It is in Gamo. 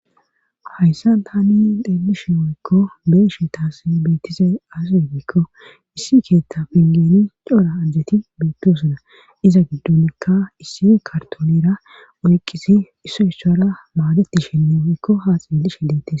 hayssan tani xeelishe woykko beeyashe taas beetise aziegeekko issi keetta pingeni cora ajjeti beettiosuna iza giddonnikka issi kartonera oyqqisi isso issora maadeti shenne oykko haa xeellishe deette